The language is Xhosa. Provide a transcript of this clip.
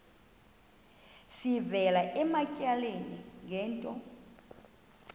sivela ematyaleni ngento